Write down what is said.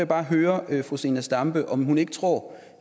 bare høre fru zenia stampe om hun ikke tror